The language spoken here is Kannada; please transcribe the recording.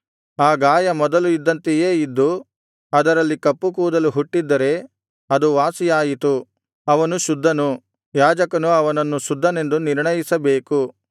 ಆ ಗಾಯ ಮೊದಲು ಇದ್ದಂತೆಯೇ ಇದ್ದು ಅದರಲ್ಲಿ ಕಪ್ಪು ಕೂದಲು ಹುಟ್ಟಿದ್ದರೆ ಅದು ವಾಸಿಯಾಯಿತು ಅವನು ಶುದ್ಧನು ಯಾಜಕನು ಅವನನ್ನು ಶುದ್ಧನೆಂದು ನಿರ್ಣಯಿಸಬೇಕು